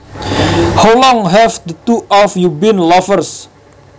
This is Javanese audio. How long have the two of you been lovers